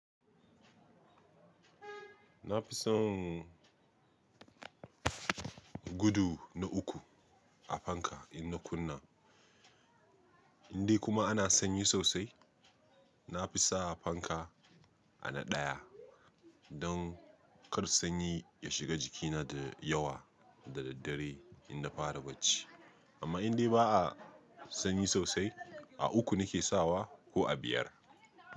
Na fi son gudu na uku a fanka in na kunna, indai kuma ana sanyi sosai. Na fi sa fanka a na ɗaya don kar sanyi ya shiga jikina da yawa da daddare in na fara bacci. Amma indai ba a sanyi sosai, a uku na ke sawa ko a biyar.